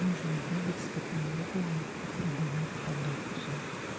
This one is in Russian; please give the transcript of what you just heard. нужно бегать с каталогами и продавать продукцию